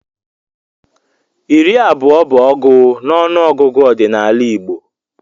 Iri abụọ bụ ọgụ n'ọnụọgụgụ ọdịnala Igbo.